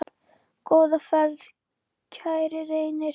Góða ferð, kæri Reynir.